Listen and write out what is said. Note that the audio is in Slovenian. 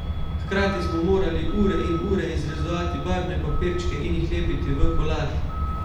Hkrati smo morali ure in ure izrezovati barvne papirčke in jih lepiti v kolaž.